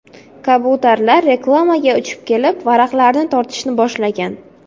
Kabutarlar reklamaga uchib kelib, varaqlarni tortishni boshlagan.